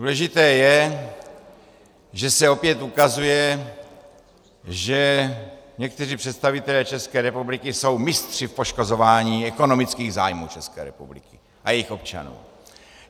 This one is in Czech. Důležité je, že se opět ukazuje, že někteří představitelé České republiky jsou mistři v poškozování ekonomických zájmu České republiky a jejích občanů.